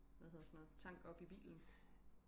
hvad hedder sådan noget tank op i bilen